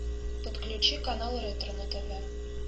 подключи канал ретро на тв